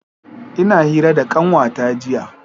Ina hira da kanwata jiya.